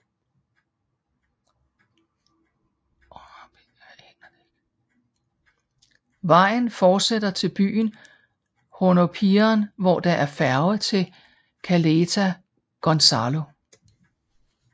Vejen forsætter til byen Hornopiren hvor der er færge til Caleta Gonzalo